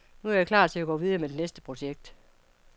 Nu er jeg klar til at gå videre med næste projekt.